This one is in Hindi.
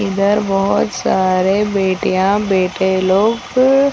इधर बहोत सारे बेटियां बेटे लोग --